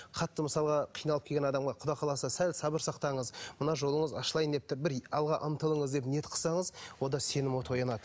қатты мысалға қиналып келген адамға құдай қаласа сәл сабыр сақтаңыз мына жолыңыз ашылайын деп тұр бір алға ұмтылыңыз деп ниет қылсаңыз онда сенім оты оянады